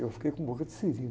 Eu fiquei com boca de siri.